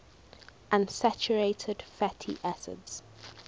unsaturated fatty acids